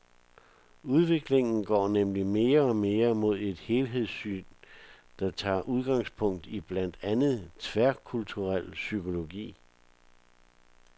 Udviklingen går nemlig mere og mere mod et helhedssyn, der tager udgangspunkt i blandt andet tværkulturel psykologi.